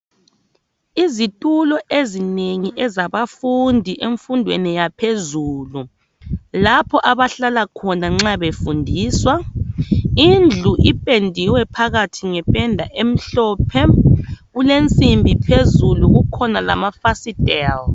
Izitulo ezinengi zabafundi bemfundo yaphezulu lapho abahlala khona nxa befundiswa. Indlu ipendiwe phakathi ngependa emhlophe. Kulensimbi phezulu kukhona lamafasitela.